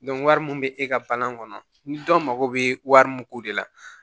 wari mun bɛ e ka bana kɔnɔ ni dɔ mako bɛ wari mun ko de la